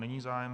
Není zájem.